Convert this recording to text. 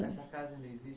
Essa casa não existe